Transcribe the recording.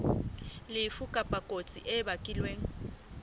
lefu kapa kotsi e bakilweng